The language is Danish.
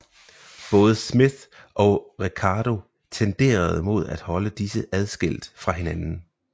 Både Smith og Ricardo tenderede mod at holde disse adskilt fra hinanden